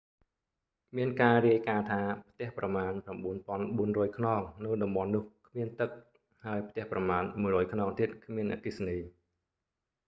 មានការរាយការណ៍ថា ផ្ទះប្រមាណ 9400 ខ្នងនៅតំបន់នោះគ្មានទឹក ហើយផ្ទះប្រមាណ 100 ខ្នងទៀតគ្មានអគ្គិសនី